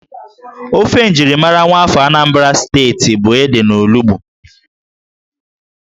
Ófé njirimara nwaafọ Anambra Steeti bụ ede na olugbu